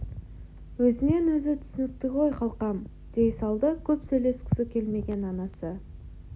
өзінен өзі түсінікті ғой қалқам дей салды көп сөйлескісі келмеген анасы